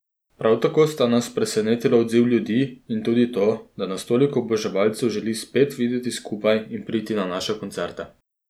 Prav tako sta nas presenetila odziv ljudi in tudi to, da nas toliko oboževalcev želi spet videti skupaj in priti na naše koncerte.